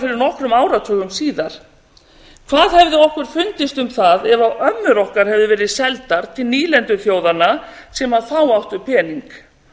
fyrir nokkrum áratugum síðan hvað hefði okkur fundist um það ef ömmur okkar hefðu verið seldar til nýlenduþjóðanna sem þá áttu pening